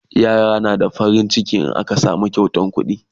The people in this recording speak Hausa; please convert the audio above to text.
yara na farin ciki in aka Basu kyautan kuɗi